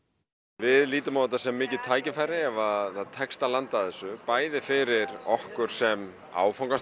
við lítum á þetta sem mikið tækifæri ef að það tekst að landa þessu bæði fyrir okkur sem áfangastað